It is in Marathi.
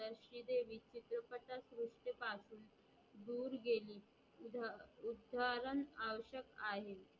दूर गेली उद्धरण आवस्यक आहे